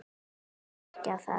Honum leist ekki á það.